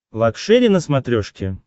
лакшери на смотрешке